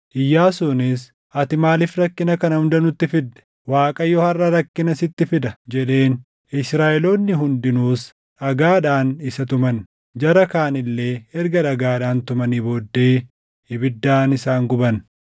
Iyyaasuunis, “Ati maaliif rakkina kana hunda nutti fidde? Waaqayyo harʼa rakkina sitti fida” jedheen. Israaʼeloonni hundinuus dhagaadhaan isa tuman; jara kaan illee erga dhagaadhaan tumanii booddee ibiddaan isaan guban.